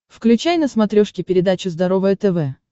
включай на смотрешке передачу здоровое тв